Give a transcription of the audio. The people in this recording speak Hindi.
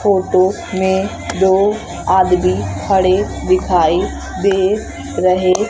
फोटो में दो आदमी खड़े दिखाई दे रहे--